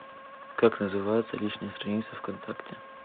как называется личная страница в контакте